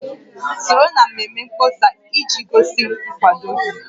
Soro na mmemme mkpọsa iji gosi nkwado gị